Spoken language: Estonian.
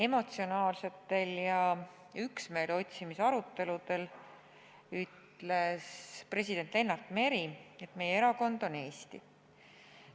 Emotsionaalsetel ja üksmeele otsimise aruteludel ütles president Lennart Meri, et meie erakond on Eesti.